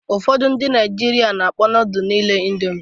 Ụfọdụ ndị Naịjirịa na-akpọ nodulu niile Indomi.